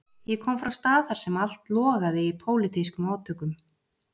Ég kom frá stað þar sem allt logaði í pólitískum átökum.